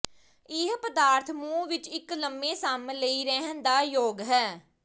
ਇਹ ਪਦਾਰਥ ਮੂੰਹ ਵਿੱਚ ਇੱਕ ਲੰਮੇ ਸਮ ਲਈ ਰਹਿਣ ਦਾ ਯੋਗ ਹੈ